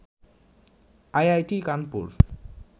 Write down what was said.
IIT Kanpur